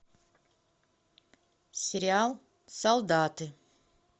сериал солдаты